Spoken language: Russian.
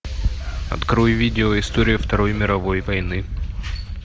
открой видео история второй мировой войны